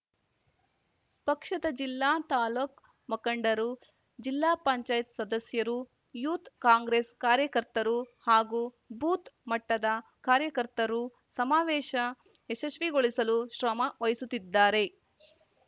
ಪಕ್ಷದ ಜಿಲ್ಲಾ ತಾಲೂಕ್ ಮುಖಂಡರು ಜಿಲ್ಲಾಪಂಚಾಯತ್ ಸದಸ್ಯರು ಯೂಥ್ ಕಾಂಗ್ರೇಸ್ ಕಾರ್ಯಕರ್ತರು ಹಾಗೂ ಬೂತ್ ಮಟ್ಟದ ಕಾರ್ಯಕರ್ತರು ಸಮಾವೇಶ ಯಶಸ್ವಿಗೊಳಿಸಲು ಶ್ರಮ ವಹಿಸುತ್ತಿದ್ದಾರೆ